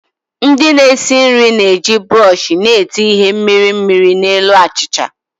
Ndị na-esi nri na-eji buroshi na-ete ihe mmiri mmiri na elu achịcha